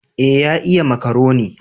Eh ya iya makaroni